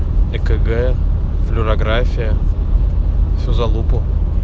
экг флюорография что всю залупу